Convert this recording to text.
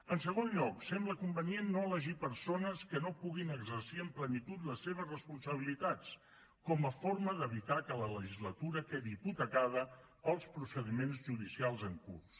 en segon lloc sembla convenient no elegir persones que no puguin exercir amb plenitud les seves responsabilitats com a forma d’evitar que la legislatura quedi hipotecada pels procediments judicials en curs